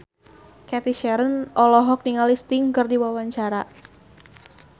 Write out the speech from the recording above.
Cathy Sharon olohok ningali Sting keur diwawancara